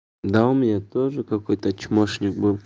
да у меня тоже какой-то чмошник был